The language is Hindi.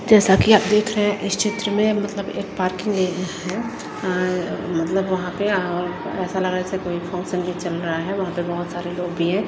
जैसा कि आप देख रहे हैं इस चित्र में मतलब एक पार्किंग एरिया है अ मतलब वहां पे आ ऐसा लग रहा जैसे कोई फोक संगीत चल रहा है वहां पे बहोत सारे लोग भी हैं।